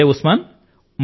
సరే ఉస్మాన్